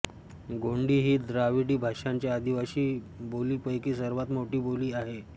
गोंडी ही द्राविडी भाषांच्या आदिवासी बोलींपैकी सर्वांत मोठी बोली आहे